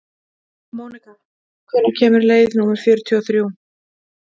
Mónika, hvenær kemur leið númer fjörutíu og þrjú?